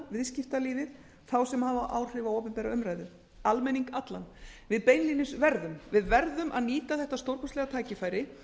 viðskiptalífið alla sem hafa áhrif á opinbera umræðu almenning allan við beinlínis verðum að nýta þetta stórkostlega tækifæri